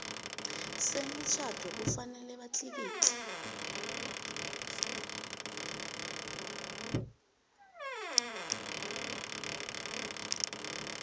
semitjhado kufanele batlikitle